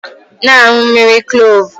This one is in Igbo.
Na-aṅụ mmiri Kloovu!